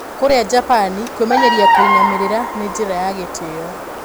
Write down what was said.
Kũrĩa Japani kwĩmenyeria kũinamĩrĩra nĩ njira ya Gitio